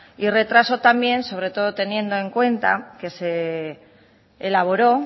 y retraso también sobre todo teniendo en cuenta que se elaboró